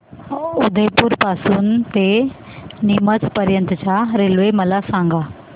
उदयपुर पासून ते नीमच पर्यंत च्या रेल्वे मला सांगा